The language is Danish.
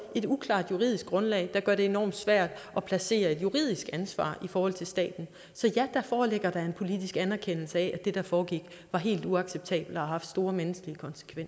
et uklart juridisk grundlag der gør det enormt svært at placere et juridisk ansvar i forhold til staten så ja der foreligger da en politisk anerkendelse af at det der foregik var helt uacceptabelt og har haft store menneskelige